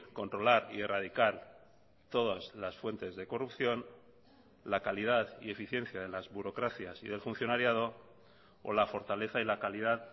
controlar y erradicar todas las fuentes de corrupción la calidad y eficiencia de las burocracias y del funcionariado o la fortaleza y la calidad